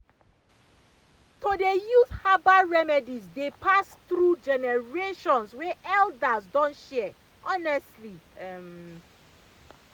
to dey use herbal remedies dey pass through generations wey elders don share honestly um.